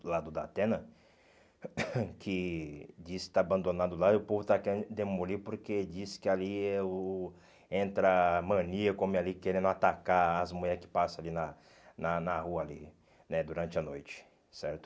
do lado da antena, que diz que está abandonado lá e o povo está querendo demolir porque diz que ali é o entra maníaco homem ali querendo atacar as mulheres que passam ali na na na rua ali né, durante a noite, certo?